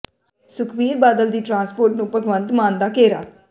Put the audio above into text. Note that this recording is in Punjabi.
ਸੁਖਬੀਰ ਬਾਦਲ ਦੀ ਟਰਾਂਸਪੋਰਟ ਨੂੰ ਭਗਵੰਤ ਮਾਨ ਦਾ ਘੇਰਾ